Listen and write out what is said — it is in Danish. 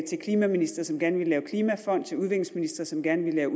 klimaministre som gerne ville lave en klimafond til udviklingsministre som gerne ville lave